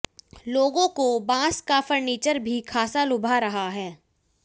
लोगों को बाँस का फर्नीचर भी खासा लुभा रहा है